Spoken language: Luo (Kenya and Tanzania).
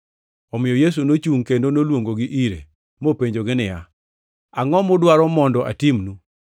Omiyo Yesu nochungʼ kendo noluongogi ire, mopenjogi niya, “Angʼo mudwaro mondo atimnu?”